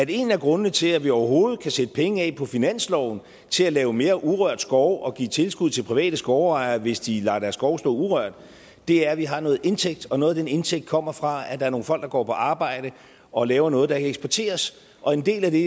en af grundene til at vi overhovedet kan sætte penge af på finansloven til at lave mere urørt skov og give tilskud til private skovejere hvis de lader deres skove stå urørt er at vi har noget indtægt og noget af den indtægt kommer fra at der er nogle folk der går på arbejde og laver noget der kan eksporteres og en del af det